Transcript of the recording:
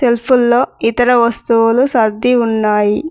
సెల్ఫుల్లో ఇతర వస్తువులు సర్ది ఉన్నాయి.